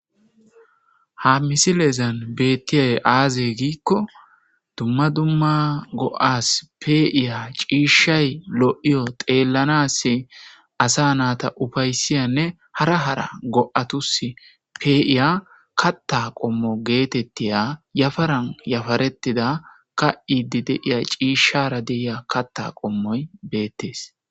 ha misilezan beettiyay aaze giikko dumma dumma go7as peiya ciishshay lo7iyo xeellanas asa naata ufaysiyanne hara hara go7atus pee7iya katta qommo geetettiya yafaran yafaretida ka7idi deiya ciishshara deiya katta qommoy beettees